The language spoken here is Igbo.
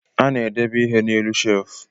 A na-edebe ihe na-elu shefu